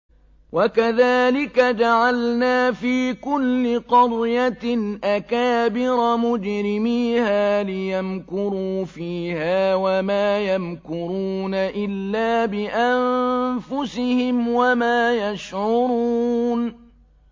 وَكَذَٰلِكَ جَعَلْنَا فِي كُلِّ قَرْيَةٍ أَكَابِرَ مُجْرِمِيهَا لِيَمْكُرُوا فِيهَا ۖ وَمَا يَمْكُرُونَ إِلَّا بِأَنفُسِهِمْ وَمَا يَشْعُرُونَ